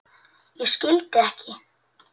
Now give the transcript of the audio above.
Ég skildi ekki.